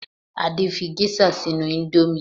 Adé fí gẹ́ṣà sínú ìndòmí